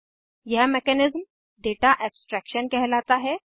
यह mechanism data abstraction कहलाता है